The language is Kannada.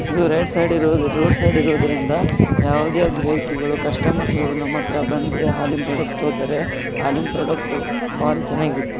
ಇದು ರೈಟ್ ಸೈಡ್ ದು ರೋಡ್ ಸೈಡ್ ಇರೋದ್ರಿಂದ ಯಾವುದೇ ಗಿರಾಕಿಗಳು ಕಸ್ಟಾಮ್ರ್ಸ್ಗಳು ಹಾಲಿನ ಪ್ರಾಡಕ್ಟ್ ತಗೋತಾರೆ ಹಾಲಿನ ಪ್ರಾಡಕ್ಟ್ ಬಾರಿ ಚೆನ್ನಾಗಿರುತ್ತೆ.